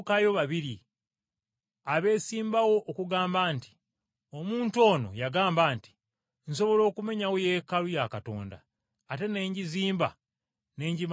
abeesimbawo okugamba nti, “Omuntu ono yagamba nti, ‘Nsobola okumenyawo Yeekaalu ya Katonda, ate ne ngizimba ne ngimalira mu nnaku ssatu.’ ”